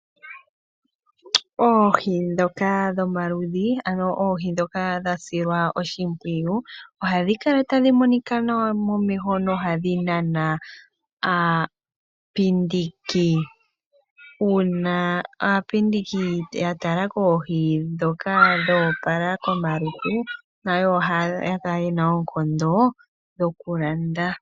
Oohi dhoka dhomaludhi ano oohi dhoka dha silwa oshimpwiyu ohadhi kala tadhi monika nawa momeho nohadhi nana aapindiki. Una aapindiki ya tala koohi dhoka dho opala komalutu nayo oha kala yena oonkondo dhoku landa.